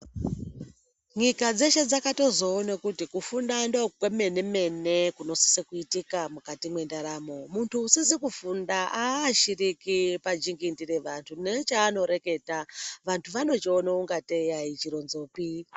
Nyika dzeshe dzakatozoona kuti kufunda ndokwemene mene kunosisa kuitika mukati mwendaramo. Muntu usizi kufunda aashiriki pajingindi re vantu nechaanoreketa vantu vanochiona ingatei aichironzopi.